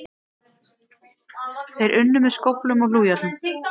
Þeir unnu með skóflum og hlújárnum.